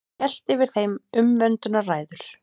Hélt yfir þeim umvöndunarræður.